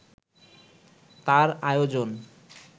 তার আয়োজন